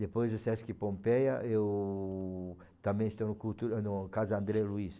Depois do Sesc Pompeia, eu também estou no cultura, no Casa André Luiz.